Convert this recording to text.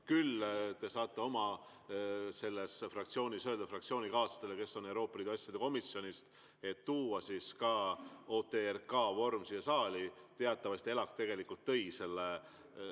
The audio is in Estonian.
Küll aga te saate oma fraktsioonis öelda fraktsioonikaaslastele, kes on Euroopa Liidu asjade komisjonis, et tuua OTRK-vormis siia saali.